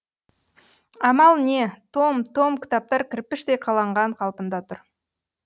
амал не том том кітаптар кірпіштей қаланған қалпында тұр